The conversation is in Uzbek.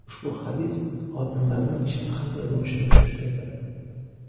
Ushbu hadis folbinlarning ishi qanday bo‘lishini tushuntirdi.